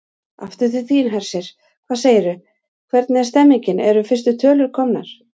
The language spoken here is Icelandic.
Aftur til þín, Hersir, hvað segirðu, hvernig er stemningin, eru fyrstu tölur komnar?